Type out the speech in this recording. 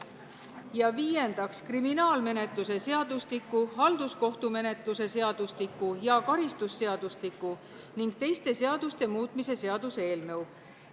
Ja viiendaks, kriminaalmenetluse seadustiku, halduskohtumenetluse seadustiku ja karistusseadustiku ning teiste seaduste muutmise seaduse eelnõu.